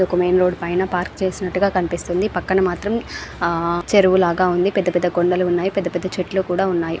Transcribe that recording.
ఇదొక main road పైన park చేసినట్టుగా కనిపిస్తా ఉంది. పక్కన మాత్రం ఆ చెరువు లాగ ఉంది. పెద్ద పెద్ద కొండలు ఉన్నాయి. పెద్ద పెద్ద చెట్లు ఉన్నాయి.